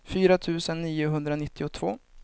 fyra tusen niohundranittiotvå